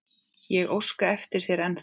Ég óska eftir þér ennþá.